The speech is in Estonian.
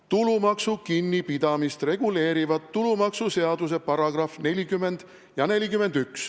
"Tulumaksu kinnipidamist reguleerivad tulumaksuseaduse § 40 ja 41.